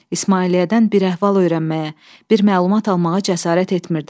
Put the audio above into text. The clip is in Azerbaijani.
İsmailiyyədən bir əhval öyrənməyə, bir məlumat almağa cəsarət etmirdim.